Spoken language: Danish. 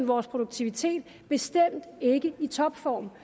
vores produktivitet bestemt ikke i topform